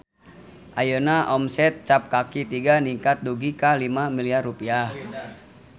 Ayeuna omset Cap Kaki Tiga ningkat dugi ka 5 miliar rupiah